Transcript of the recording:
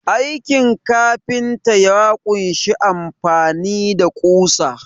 Aikin kafinta ya kunshi amfani da ƙusa.